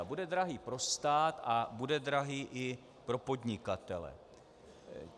A bude drahý pro stát a bude drahý i pro podnikatele.